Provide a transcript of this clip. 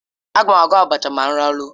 Agam agwọ́ abacha ma m laruo